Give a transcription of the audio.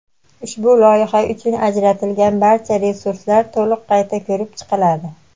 Ushbu loyiha uchun ajratilgan barcha resurslar to‘liq qayta ko‘rib chiqiladi.